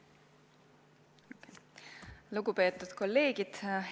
Lugupeetud kolleegid!